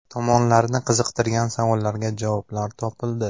Tomonlarni qiziqtirgan savollarga javoblar topildi.